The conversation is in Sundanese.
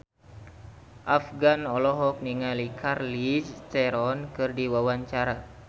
Afgan olohok ningali Charlize Theron keur diwawancara